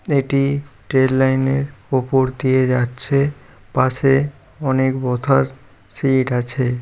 এটি ট্রেন লাইনের উপর দিয়ে যাচ্ছে। পাশে অনেক বথার সিট আছে।